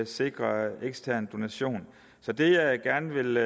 sikre ekstern donation så det jeg gerne vil